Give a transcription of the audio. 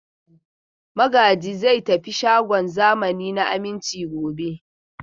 Magaji zai tafi shagon zamani na Aminci gobe.